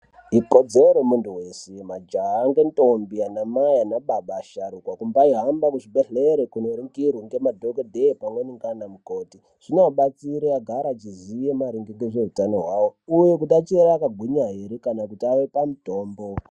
Ikodzero yemuntu weshe majaha ngendombi, anamai anababa asharuka, kumbaahambe kuzvibhedhlere kunoringirwe ngemadhokodhee pamweni nganamukoti. Zvinoabatsira agara achiziva maringe ngeutano hwavo uye achiri akagwinya ere kana kuti ave pamutombo.